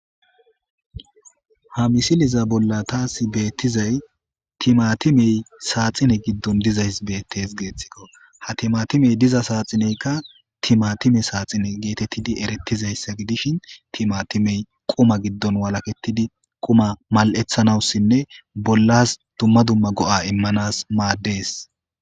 Ha misiliya bolla ta xelidayisi timatimeyi saxine gidoni dizayisi bettesi, ha timatimeyi diza saxineyikka timatime saxine gettetidi eretishini, timatimeyi quma giddo walaketidi quma mali'ethanasi bollasi duma duma go'a imanasi madesi.